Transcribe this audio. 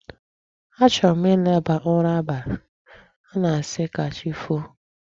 A chọrọ ịlaba ụra abalị a na-asị ka chi foo.